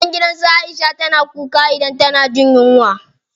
Magen gidan su Aisha na kuka idan tana jin yunwa.